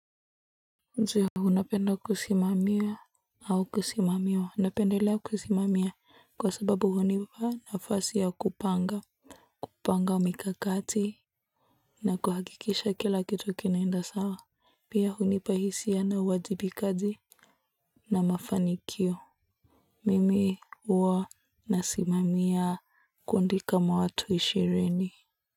Je, unapenda kusimamia au kusimamiwa? Napendelea kusimamia kwa sababu hunipa nafasi ya kupanga kupanga mikakati na kuhakikisha kila kitu kinaenda sawa pia hunipa hisia na uwajibikaji na mafanikio mimi huwa nasimamia kundi kama watu ishirini.